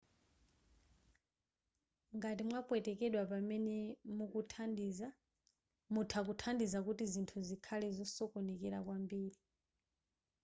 ngati mwapwetekedwa pamene mukuthandiza mutha kuthandiza kuti zinthu zikhale zosokonekera kwambiri